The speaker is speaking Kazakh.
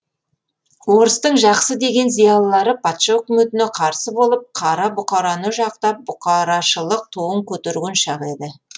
орыстың жақсы деген зиялылары патша өкіметіне қарсы болып қара бұқараны жақтап бұқарашылық туын көтерген шақ еді